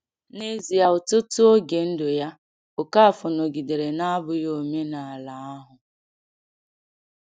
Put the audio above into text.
N’ezie, ọtụtụ oge ndụ ya, Okafor nọgidere na-abụghị omenala ahụ.